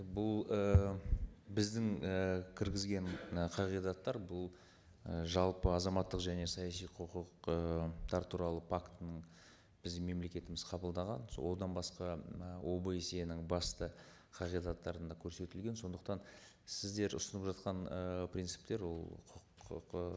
бұл ііі біздің і кіргізген і қағидаттар бұл і жалпы азаматтық және саяси құқық ы туралы пактінің біздің мемлекетіміз қабылдаған сол одан басқа ы обсе нің басты қағидаттарында көрсетілген сондықтан сіздер ұсынып жатқан ыыы принциптер ол құқық ы